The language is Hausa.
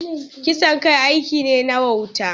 Kisan kai aiki ne na wauta.